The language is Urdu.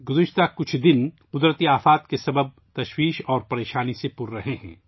گزشتہ چند روز قدرتی آفات کی وجہ سے پریشانی اور مشکلات سے بھرے ہوئے رہے ہیں